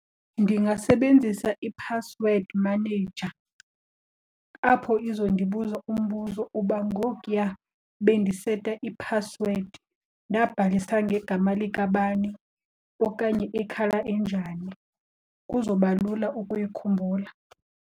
Ndingasebenzisa i-password manager apho izondibuza umbuzo uba ngokuya bendiseta i-password ndabhalisa ngegama likabani okanye i-colour enjani, kuzoba lula ukuyikhumbula.